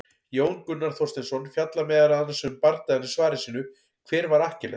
Jón Gunnar Þorsteinsson fjallar meðal annars um bardagann í svari sínu, Hver var Akkiles?